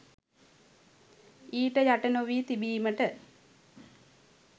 ඊට යට නොවී තිබීමට